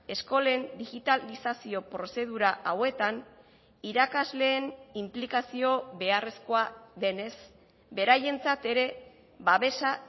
eskolen digitalizazio prozedura hauetan irakasleen inplikazio beharrezkoa denez beraientzat ere babesa